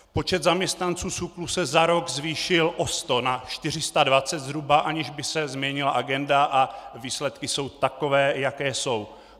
Počet zaměstnanců SÚKL se za rok zvýšil o 100 na 420 zhruba, aniž by se změnila agenda, a výsledky jsou takové, jaké jsou.